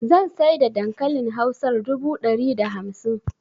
Zan saida dankalin hausar dubu dari da hamsin